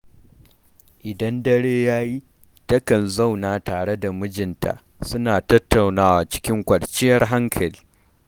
Idan dare ya yi, takan zauna tare da mijinta suna tattaunawa cikin kwanciyar hankali.